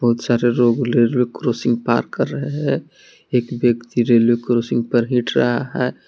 बहुत सारे लोग रेलवे क्रॉसिंग पार कर रहे हैं एक व्यक्ति रेलवे क्रॉसिंग पर हिट रहा है।